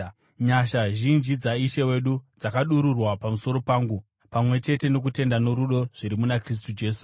Nyasha zhinji dzaIshe wedu dzakadururwa pamusoro pangu, pamwe chete nokutenda norudo zviri muna Kristu Jesu.